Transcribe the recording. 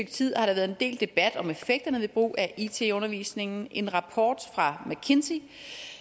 tid har der været en del debat om effekterne ved brug af it i undervisningen en rapport fra mckinsey